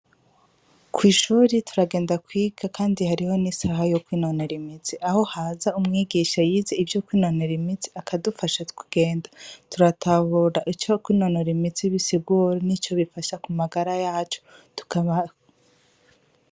Ko 'ishuri turagenda kwiga, kandi hariho n'isaha yoko inonera imitsi aho haza umwigisha yize ivyo kw inonera imitsi akadufasha kugenda turatabura icoko inonora imitsi bisigoro n'ico bifasha ku magara yacu tukabaa.